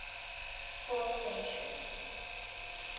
fourth century